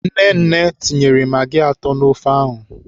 Nnenne tinyere magị atọ n'ofe ahụ.